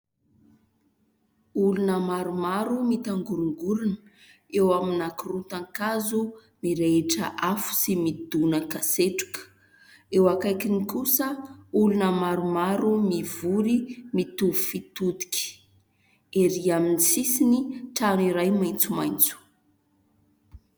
Olona maromaro mitangorongorana eo amin'ny ankorotan-kazo mirehitra afo sy midonakasetroka, eo akaikiny kosa olona maromaro mivory mitovy fitodika, erỳ amin'ny sisiny trano iray maintsomaintso.